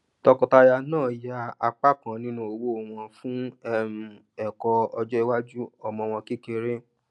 tọọkọtaya náà yà apá kan nínú owó wọn fún um ẹkọ ọjọiwájú ọmọ wọn kékeré